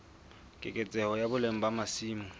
keketseho ya boleng ba masimo